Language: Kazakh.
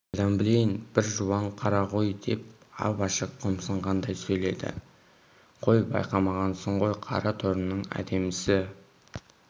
қайдан білейін бір жуан қара ғой деп ап-ашық қомсынғандай сөйледі қой байқамағансың ғой қара торының әдемісі